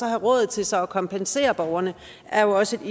råd til så at kompensere borgerne er jo også et